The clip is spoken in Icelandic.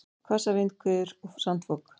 Hvassar vindhviður og sandfok